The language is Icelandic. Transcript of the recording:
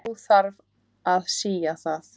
Þó þarf að sía það.